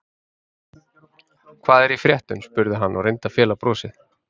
Hvað er í fréttum? spurði hann og reyndi að fela brosið.